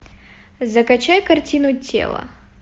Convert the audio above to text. закачай картину тело